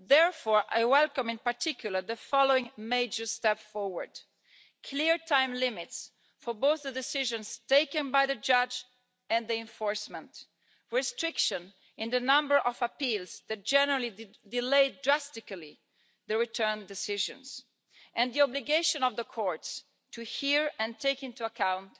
Therefore, I welcome in particular the following major steps forward clear time limits for both the decisions taken by the judge and the enforcement, restriction in the number of appeals that generally delayed drastically the return decisions and the obligation of the courts to hear and take into account